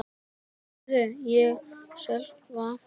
heyrði ég Sölva kalla.